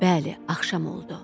Bəli, axşam oldu.